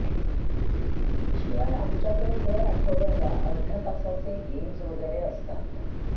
शिवाय आमच्याकडे दर आठवड्याला अर्ध्या तासाचे गेम्स वगैरे असतात